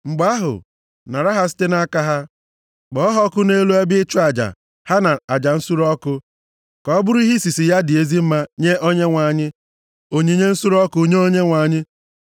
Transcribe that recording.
Mgbe ahụ, nara ha site nʼaka ha. Kpọọ ha ọkụ nʼelu ebe ịchụ aja ha na aja nsure ọkụ, ka ọ bụrụ ihe isisi ya dị ezi mma nye Onyenwe anyị. Onyinye nsure ọkụ nye Onyenwe anyị.